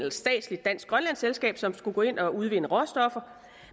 et statsligt dansk grønlandsk selskab som skulle gå ind og udvinde råstoffer